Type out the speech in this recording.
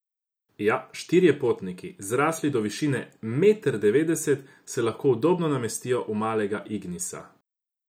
Ja, štirje potniki, zrasli do višine meter devetdeset, se lahko udobno namestijo v malega ignisa.